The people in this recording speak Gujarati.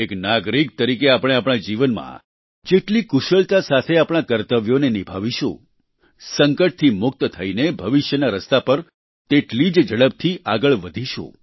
એક નાગરિક તરીકે આપણે આપણા જીવનમાં જેટલી કુશળતા સાથે આપણા કર્તવ્યોને નિભાવશું સંકટથી મુક્ત થઈને ભવિષ્યના રસ્તા પર તેટલી જ ઝડપથી આગળ વધીશું